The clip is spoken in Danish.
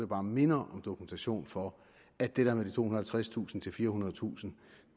bare minder om dokumentation for at det der med tohundredetusind firehundredetusind